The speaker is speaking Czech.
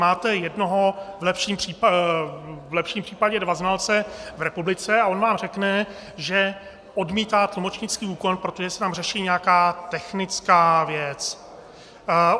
Máte jednoho, v lepším případě dva znalce v republice, a on vám řekne, že odmítá tlumočnický úkon, protože se tam řeší nějaká technická věc.